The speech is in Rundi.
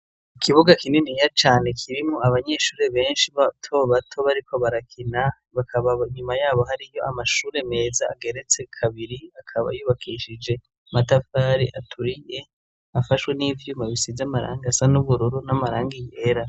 Ikibuga kininiya cane kirimwo abanyeshuri benshi bato bato bariko barakina hakaba nyuma yabo hariyo amashure meza ageretse kabiri, akaba yubakishije amatafari aturiye afashwe n'ivyuma bisize amarangi asa n'ubururu n'amarangi yera.